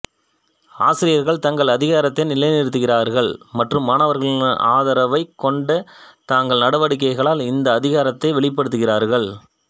ஆசிரியர்கள் தங்கள் அதிகாரத்தை நிலைநிறுத்துகிறார்கள் மற்றும் மாணவர்களின் ஆதரவைக் கொண்ட தங்கள் நடவடிக்கைகளால் இந்த அதிகாரத்தை வெளிப்படுத்துகிறார்கள்